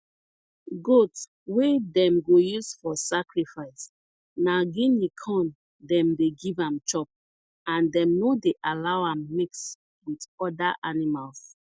goat wey dem go use for sacrifice na guinea corn dem dey give am chop and dem no dey allow am mix with other animals